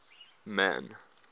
man